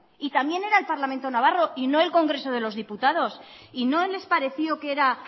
y también era el parlamento navarro y no el congreso de los diputados y no les pareció que era